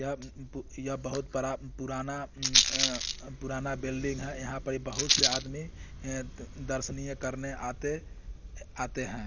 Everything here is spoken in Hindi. यहाँ जी पु पु यहाँ बहुत बड़ा पुराना उम आ पुराना बिल्डिंग है यहाँ पर बहुत से आदमी ए दर्शनीय करने आते आते है।